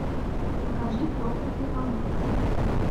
покажи проклятый алмаз